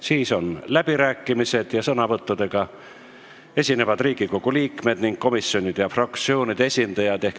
Siis on läbirääkimised, sõnavõttudega saavad esineda Riigikogu liikmed ning komisjonide ja fraktsioonide esindajad.